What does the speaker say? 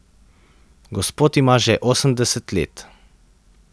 Gospod ima že osemdeset let.